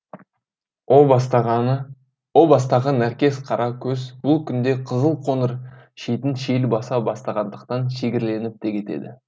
о бастағы нәркес қара көз бұл күнде қызыл қоныр шетін шел баса бастағандықтан шегірленіп те кетеді